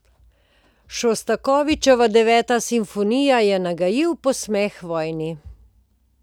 Šostakovičeva Deveta simfonija je nagajiv posmeh vojni.